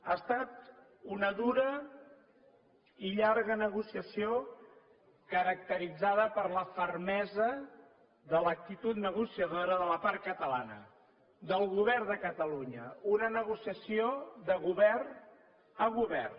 ha estat una dura i llarga negociació caracteritzada per la fermesa de l’actitud negociadora de la part catalana del govern de catalunya una negociació de govern a govern